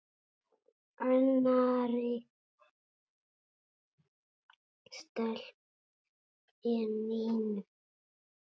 Annarri stelpu en Nínu?